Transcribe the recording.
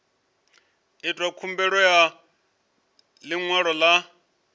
itwa khumbelo ya ḽiṅwalo ḽa